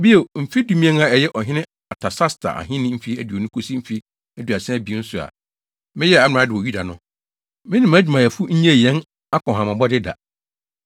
Bio, mfe dumien a ɛyɛ ɔhene Artasasta ahenni mfe aduonu kosi mfe aduasa abien so a meyɛɛ amrado wɔ Yuda no, me ne mʼadwumayɛfo nnyee yɛn akɔnhamabɔde da.